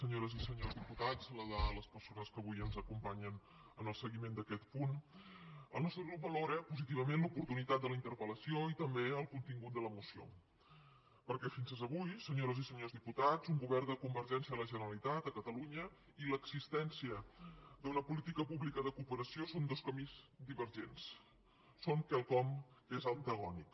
senyores i senyors diputats saludar les persones que avui ens acompanyen en el seguiment d’aquest punt el nostre grup valora positivament l’oportunitat de la interpel·lació i també el contingut de la moció perquè fins avui senyores i senyors diputats un govern de convergència a la generalitat de catalunya i l’existència d’una política pública de cooperació són dos camins divergents són quelcom que és antagònic